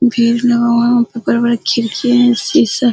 भीड़ लगा हुआ हैं वहाँ पे बड़े-बड़े खिड़की हैशीशा --